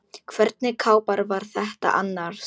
Hvernig kápa var þetta annars?